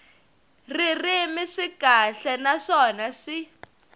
ririmi swi kahle naswona swi